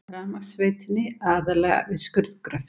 Rafmagnsveitunni, aðallega við skurðgröft.